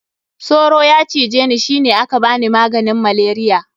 Soro ya cije ni shi ne aka bani maganin malaria.